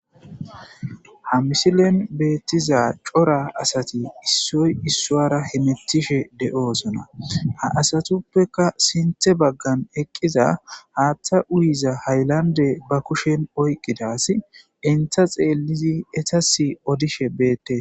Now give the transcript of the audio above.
Ha misilen beettiza cora asati issoy issuwara hametishe de'osona. Ha asatuppeka sinththe baggan eqqiza haaththa uyiza haylande ba kushen oyqqida asi enta xeellidi etas odishe beettees.